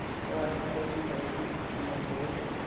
वह आदमी सोचने लगा की इसके कीमत और